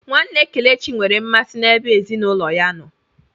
Nwanne Kelechi nwere mmasị n'ebe ezinụlọ ya nọ.